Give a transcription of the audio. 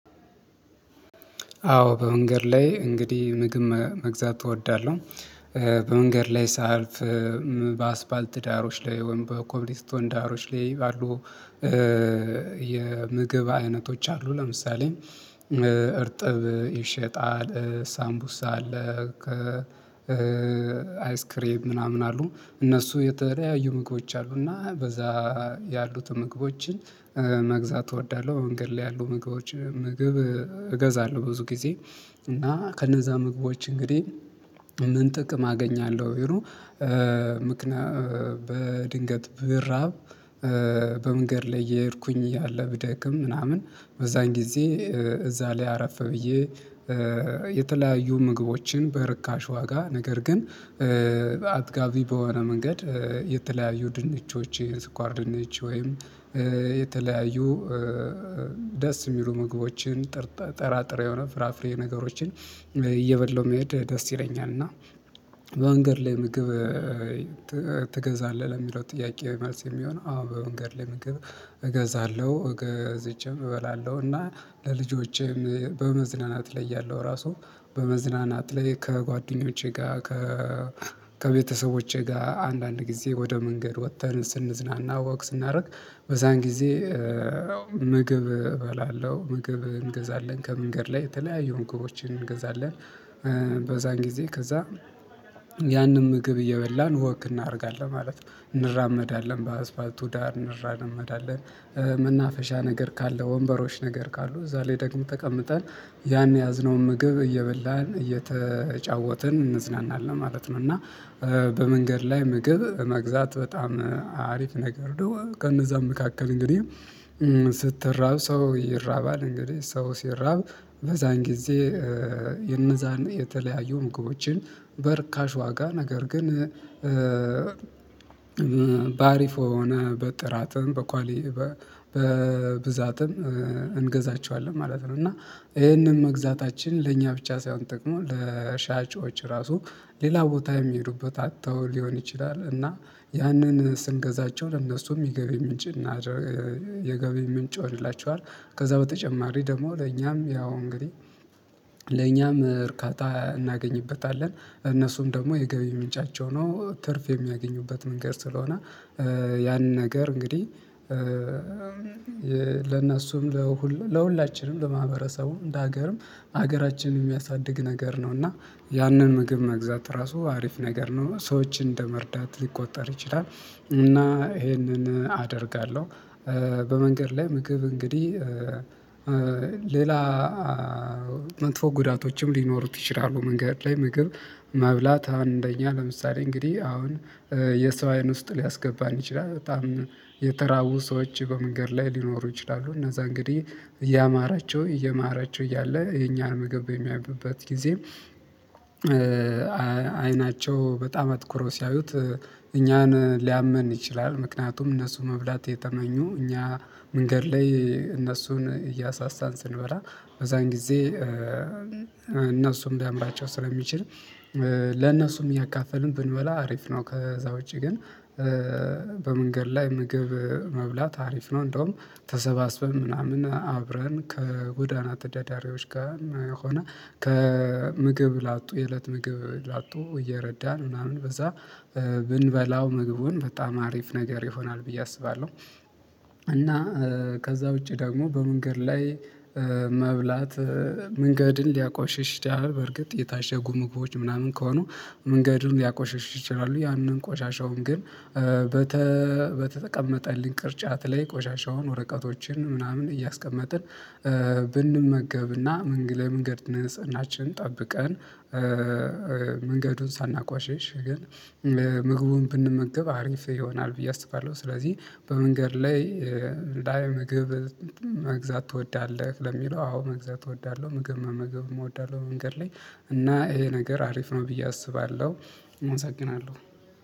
አዎ በመንገድ ላይ እንግዲህ ምግብ መግዛት እወዳለሁ። በመንገድ ላይ ሳይልፍ በአስፋልት ዳሮች ላይ ወይም በኮብልስቶን ዳሮች ላይ ባሉ የምግብ አይነቶች አሉ። ለምሳሌ እርጥብ ይሸጣል ሳምቡሳ አለ። አይስክሬም ምናምን አሉ እነሱ የተለያዩ ምግቦች አሉ። እና በዛ ያሉትን ምግቦችን መግዛት እወዳለሁ። መንገድ ላይ ያሉ ምግቦች እገዛለሁ ብዙ ጊዜ እና ከነዛ ምግቦች እንግዲህ ምን ጥቅም አገኛለሁ? ምክንያቱም በድንገት ብራብ በመንገድ ላይ እየሄድኩኝ እያለ ብደክም ምናምን በዛን ጊዜ እዛ ላይ አረፍ ብዬ የተለያዩ ምግቦችን በርካሽ ዋጋ ነገር ግን አጥጋቢ በሆነ መንገድ። የተለያዩ ድንችዎች የስኳር ድነች ወይም የተለያዩ ደስ የሚሉ ምግቦችን ጥራጥሬ የሆነ ፍራፍሬ ነገሮችን እየበላሁ መሄድ ደስ ይለኛል። እና በአንገር ላይ ምግብ ትገዛለህ ለሚለው ጥያቄ መልስ የሚሆነው አዎ በመንገድ ላይ ምግብ እገዛለሁ ገዝቼም እበላለሁ። እና ለልጆቼም በመዝናናት ላይ ያለው ራሱ በመዝናናት ላይ ከጓደኞቼ ጋር ከ ከቤተሰቦቼ ጋር አንዳንድ ጊዜ ወደ መንገድ ወጥተን ስንዝናና ወክ ስናደርግ በዛን ጊዜ ምግብ እበላለሁ ምግብ እንገዛለን ከመንገድ ላይ የተለያዩ ምግቦችን እንገዛለን በዛን ጊዜ ከዛ ያንን ምግብ እየበላን ወክ እናደርጋለን ማለት ነው። እንራመዳለን በአስፋልቱ ዳር እንራመዳለን። መናፈሻ ነገር ካለ ወንበሮች ነገር ካሉ እዛ ላይ ደግሞ ተቀምጠን ያን የያዝነውን ምግብ እየበላን እየተጫወትን እንዝናናለን ማለት ነው። እና በመንገድ ላይ ምግብ መግዛት በጣም አሪፍ ነገር ከነዛ መካከል እንግዲህ ስትራብ ሰው ይራባል እንግዲህ ሰው ሲራብ በዛን ጊዜ የነዛን የተለያዩ ምግቦችን በርካሽ ዋጋ ነገር ግን በአሪፍ ወይም በጥራትም በኳሊ በብዛትም እንገዛቸዋለን ማለት ነው። እና ይሄንን መግዛታችን ለእኛ ብቻ ሳይሆን ጠቅሞ ለሻጮች ራሱ ሌላ ቦታ የሚሄዱበት አጥተው ሊሆን ይችላል። እና ያንን ስንገዛቸው ለእነሱ የገቢ ምንጭ የገቢ ምንጭ ይሆንላቸዋል። ከዛ በተጨማሪ ደግሞ ለእኛም ያው እንግዲህ ለእኛም እርካታ እናገኝበታለን እነሱም ደግሞ የገቢ ምንጫቸው ነው። ትርፍ የሚያገኙበት መንገድ ስለሆነ ያንን ነገር እንግዲህ ለእናሱም ለሁላችንም ለማህበረሰቡም ለሀገርም ሀገራችንን የሚያሳድግ ነገር ነው። እና ያንን ምግብ መግዛት ራሱ አሪፍ ነገር ነው ሰዎችን እንደመርዳት ሊቆጠር ይችላል። እና ይሄንን አደርጋለሁ በመንገድ ላይ ምግብ እንግዲህ ሌላ መጥፎ ጉዳቶችም ሊኖሩት ይችላሉ። መንገድ ላይ ምግብ መብላት አንደኛ ለምሳሌ እንግዲህ አሁን የሰው አይን ውስጥ ሊያስገባን ይችላል በጣም የተራቡ ሰዎች በመንገድ ላይ ሊኖሩ ይችላሉ። እና እንግዲህ እያማራቸው እየማራቸው እያለ የኛን ምግብ በሚያዩበት ጊዜ አይናቸው በጣም አትኩሮ ሲያዩት እኛን ሊያመን ይችላል ምክንያቱም እነሱ መብላት የተመኙ እኛ መንገድ ላይ እነሱን እያሳሳን ስንበራ በዛን ጊዜ እነሱም ቢያምራቸው ስለሚችል ለነሱም እያካፈልን ብንበላ አሪፍ ነው። ከዛ ውጪ ግን በመንገድ ላይ ምግብ መብላት አሪፍ ነው። እንደውም ተሰባስበን ምናምን አብረን ከጎዳና ተዳዳሪዎች ጋር ሆነ ከምግብ ላጡ የእለት ምግብ ላጡ እየረዳን ምናምን በዛ ብንበላው ምግቡን በጣም አሪፍ ነገር ይሆናል ብዬ አስባለሁ። እና ከዛ ውጪ ደግሞ በመንገድ ላይ መብላት መንገድን ሊያቆሽሽ ይችላል በርግጥ የታሸጉ ምግቦች ምናምን ከሆኑ መንገድን ሊያቆሽሽ ይችላሉ። ያንን ቆሻሻውን ግን በተቀመጠልን ቅርጫት ላይ ቆሻሻውን ወረቀቶችን ምናምን እያስቀመጥን ብንመገብና መንገድ መንገድ ንጽህናችንን ጠብቀን መንገዱን ሳናቋሽሽ ግን ምግቡን ብንመገብ አሪፍ ይሆናል ብዬ አስባለሁ። ስለዚህ በመንገድ ላይ ምግብ መግዛት ትወዳለህ ለሚለው አዎ መግዛት እወዳለሁ። ምግብ መመገብም እወዳለሁ። መንገድ ላይ እና ይሄ ነገር አሪፍ ነው ብዬ አስባለሁ። እመሰግናለሁ